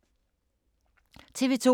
TV 2